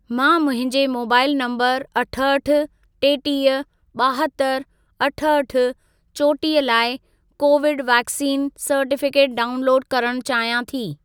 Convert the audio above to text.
मां मुंहिंजे mobile number अठहठि, टेटीह, ॿाहतरि, अठहठि, चोटीह लाइ कोविड वैक्सीन सर्टिफिकेट डाउनलोड करण चाहियां थी।